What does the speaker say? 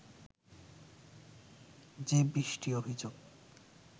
যে বিশটি অভিযোগ